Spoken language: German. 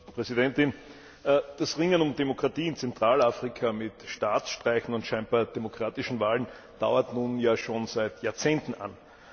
Frau Präsidentin! Das Ringen um Demokratie in Zentralafrika mit Staatsstreichen und scheinbar demokratischen Wahlen dauert nun ja schon seit Jahrzehnten an.